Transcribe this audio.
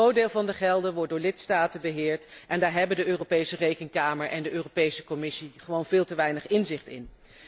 Een groot deel van de gelden wordt door lidstaten beheerd en daar hebben de Europese Rekenkamer en de Europese Commissie gewoon veel te weinig inzicht in.